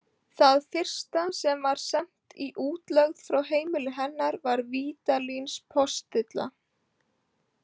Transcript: Það fyrsta sem var sent í útlegð frá heimili hennar var Vídalínspostilla.